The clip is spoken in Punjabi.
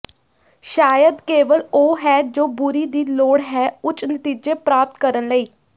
ਸ਼ਾਇਦ ਕੇਵਲ ਉਹ ਹੈ ਜੋ ਬੁਰੀ ਦੀ ਲੋੜ ਹੈ ਉੱਚ ਨਤੀਜੇ ਪ੍ਰਾਪਤ ਕਰਨ ਲਈ